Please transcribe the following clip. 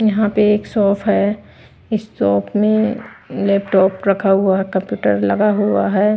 यहां पे एक शॉप है इस शॉप में लैपटॉप रखा हुआ है कंप्यूटर लगा हुआ है।